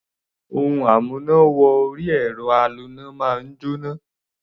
Ohun amúná-wọ-orí-ẹ̀rọ aloná máa ń jóná.